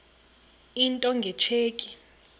into nge tsheki